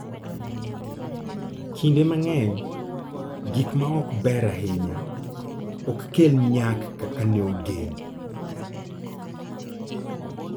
Kinde mang'eny gik ma ok ber ahinya ok kel nyak kaka ne ogen.